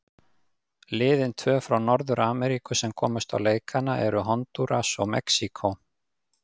Liðin tvö frá Norður-Ameríku sem komust á leikana eru Hondúras og Mexíkó.